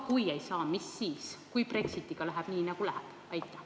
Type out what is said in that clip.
Kui ei saa, mis juhtub siis, kui Brexitiga läheb nii, nagu läheb?